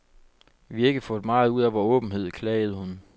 Vi har ikke fået meget ud af vor åbenhed, klagede hun.